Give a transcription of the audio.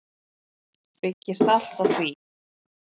Byggist allt á því.